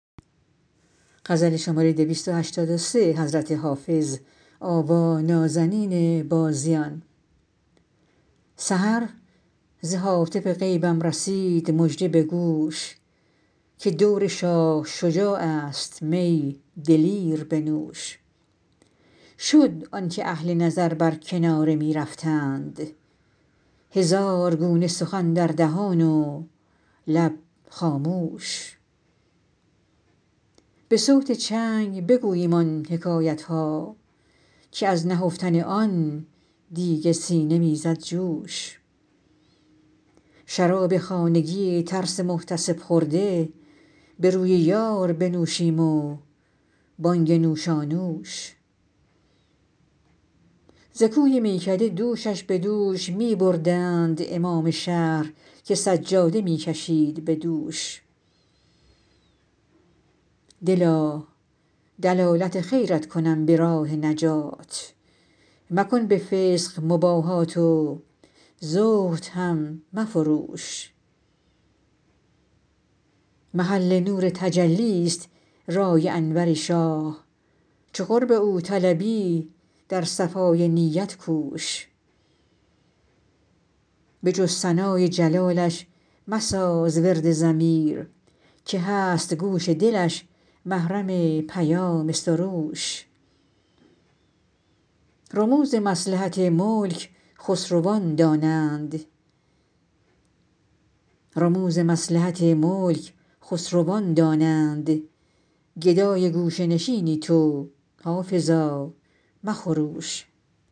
سحر ز هاتف غیبم رسید مژده به گوش که دور شاه شجاع است می دلیر بنوش شد آن که اهل نظر بر کناره می رفتند هزار گونه سخن در دهان و لب خاموش به صوت چنگ بگوییم آن حکایت ها که از نهفتن آن دیگ سینه می زد جوش شراب خانگی ترس محتسب خورده به روی یار بنوشیم و بانگ نوشانوش ز کوی میکده دوشش به دوش می بردند امام شهر که سجاده می کشید به دوش دلا دلالت خیرت کنم به راه نجات مکن به فسق مباهات و زهد هم مفروش محل نور تجلی ست رای انور شاه چو قرب او طلبی در صفای نیت کوش به جز ثنای جلالش مساز ورد ضمیر که هست گوش دلش محرم پیام سروش رموز مصلحت ملک خسروان دانند گدای گوشه نشینی تو حافظا مخروش